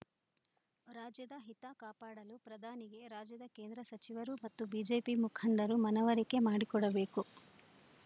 ರಾಜ್ಯದ ಹಿತ ಕಾಪಾಡಲು ಪ್ರಧಾನಿಗೆ ರಾಜ್ಯದ ಕೇಂದ್ರ ಸಚಿವರು ಮತ್ತು ಬಿಜೆಪಿ ಮುಖಂಡರು ಮನವರಿಕೆ ಮಾಡಿಕೊಡಬೇಕು